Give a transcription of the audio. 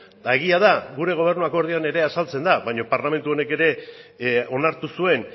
eta egia da gure gobernu akordioan ere azaltzen da baina parlamentu honek ere onartu zuen